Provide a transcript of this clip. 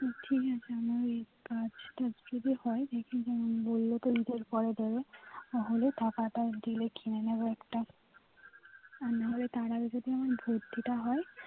ঠিক আছে ওই কাজ টা যদি হয় বললো তো report পরে দেবে তাহলে টাকা দিলে কিনে নেবো একটা আর নাহলে তার আগে যদি আমার ভর্তি টা হয়